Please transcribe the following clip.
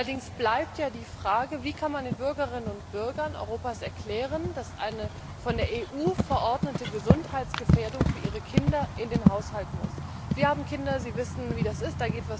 Allerdings bleibt die Frage Wie kann man den Bürgerinnen und Bürgern Europas erklären, dass sie eine von der EU verordnete Gesundheitsgefährdung für ihre Kinder in ihren Haushalt lassen müssen? Sie haben Kinder, Sie wissen, wie das ist.